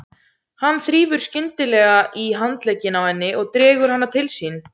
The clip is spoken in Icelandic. Hann þrífur skyndilega í handlegginn á henni og dregur hana til sín.